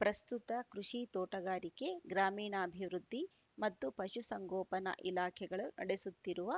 ಪ್ರಸ್ತುತ ಕೃಷಿ ತೋಟಗಾರಿಕೆ ಗ್ರಾಮೀಣಾಭಿವೃದ್ಧಿ ಮತ್ತು ಪಶು ಸಂಗೋಪನಾ ಇಲಾಖೆಗಳು ನಡೆಸುತ್ತಿರುವ